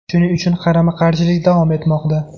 Shuning uchun qarama-qarshilik davom etmoqda.